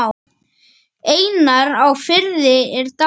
Einar á Firði er dáinn.